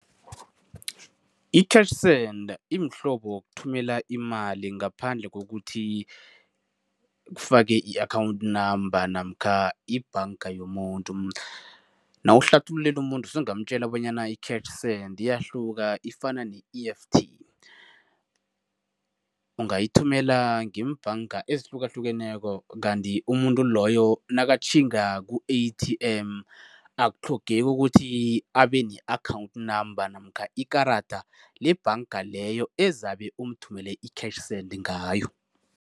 I-cash send imhlobo wokuthumela imali ngaphandle kokuthi kufake i-account number namkha ibhanga yomuntu. Nawuhlathululela umuntu usungamtjela bonyana i-cash send card iyahluka ifana ne-E_F_T. Ungayithumela ngeembhanga ezihlukahlukeneko kanti umuntu loyo nakatjhinga ku-A_T_M akutlhogeki ukuthi abe ne-account number namkha ikarada lebhanga leyo ezabe umthumele i-cash send ngayo.